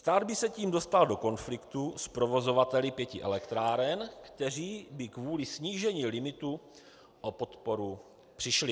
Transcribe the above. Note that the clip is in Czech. Stát by se tím dostal do konfliktu s provozovateli pěti elektráren, kteří by kvůli snížení limitu o podporu přišli.